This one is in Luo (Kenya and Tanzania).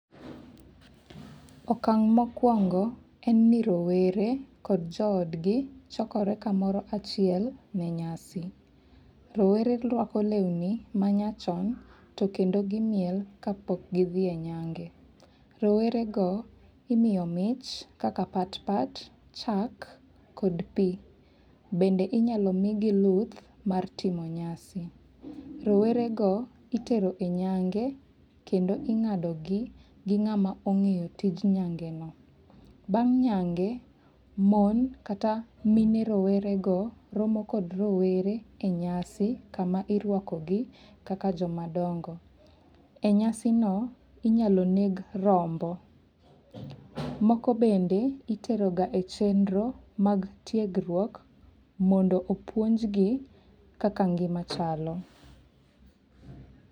Okang' mokwongo en ni rowere kod jo od gi chokore kamoro achiel ne nyasi. Rowere rwako lewni ma nya chon to kendo gimiel ka pok githi e nyange. Rowere go imiyo mich kaka pat pat, chak kod pi. Bende imyalo migi luth mar timo nyasi. Rowere go itero e nyang'e kendo ongadogi gi ng'ama ong'eyo tij nyangi no. Bang' nyange, mon kata mine rowerego romo kod rowere e nyasi kama irwako gi kaka joma dongo. E nyasi no inyalo neg rombo. Moko bende itero ga e chenro mag tiegruok mondo opuonjgi kaka ngima chalo.